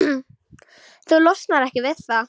Þú losnar ekki við það.